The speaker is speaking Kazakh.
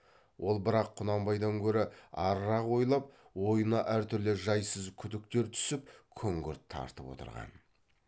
ол бірақ құнанбайдан гөрі арырақ ойлап ойына әртүрлі жайсыз күдіктер түсіп күңгірт тартып отырған